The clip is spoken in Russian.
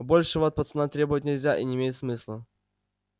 большего от пацана требовать нельзя и не имеет смысла